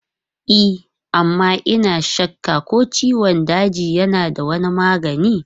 E amma ina shakka ko ciwon daji yana da wani magani.